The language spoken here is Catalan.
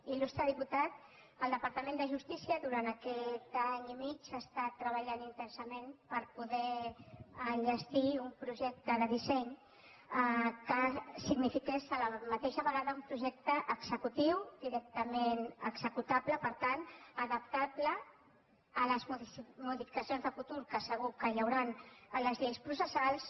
il·lustre di·putat el departament de justícia durant aquest any i mig ha estat treballant intensament per poder enlles·tir un projecte de disseny que signifiqués a la vegada un projecte executiu directament executable per tant adaptable a les modificacions de futur que segur que hi hauran a les lleis processals